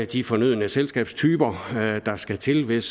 de fornødne selskabstyper der skal til hvis